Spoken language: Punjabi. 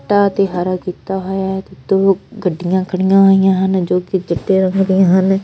ਇਹ ਤੇ ਹਰਾ ਕੀਤਾ ਹੈ ਤੇ ਦੋ ਗੱਡੀਆਂ ਖੜੀਆਂ ਹੋਈਆਂ ਹਨ ਜੋਕਿ ਚਿੱਟੇ ਰੰਗ ਦੀਆਂ ਹਨ।